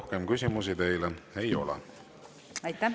Rohkem küsimusi teile ei ole.